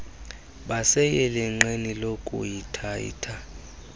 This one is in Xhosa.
baseyelenqeni lokuehitha ehitha